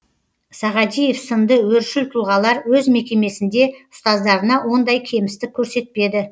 сағадиев сынды өршіл тұлғалар өз мекемесінде ұстаздарына ондай кемістік көрсетпеді